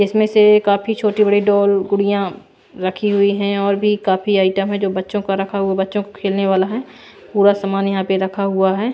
इसमें से काफी छोटी बड़ी डॉल गुड़ियां रखी हुई है और भी काफी आइटम है जो बच्चों का रखा हुआ बच्चों को खेलने वाला है पूरा सामान यहां पे रखा हुआ है।